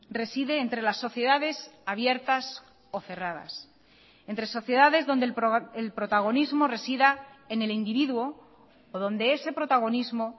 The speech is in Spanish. reside entre las sociedades abiertas o cerradas entre sociedades donde el protagonismo resida en el individuo o donde ese protagonismo